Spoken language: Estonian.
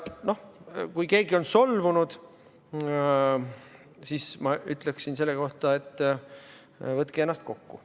Noh, kui keegi on solvunud, siis ma ütleksin selle kohta, et võtke ennast kokku.